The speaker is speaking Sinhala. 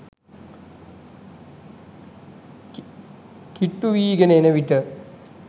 කිට්ටුවීගෙන එන විට